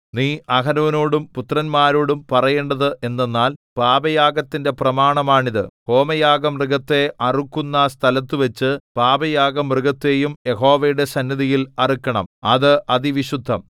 നീ അഹരോനോടും പുത്രന്മാരോടും പറയേണ്ടത് എന്തെന്നാൽ പാപയാഗത്തിന്റെ പ്രമാണമാണിത് ഹോമയാഗമൃഗത്തെ അറുക്കുന്ന സ്ഥലത്തുവച്ചു പാപയാഗമൃഗത്തെയും യഹോവയുടെ സന്നിധിയിൽ അറുക്കണം അത് അതിവിശുദ്ധം